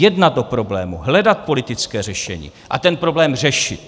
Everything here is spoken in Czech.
Jednat o problému, hledat politické řešení a ten problém řešit.